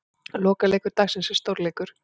Lokaleikur dagsins er stórleikur.